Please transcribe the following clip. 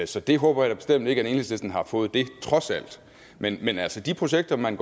så det håber jeg da bestemt ikke at enhedslisten har fået trods alt men men altså de projekter man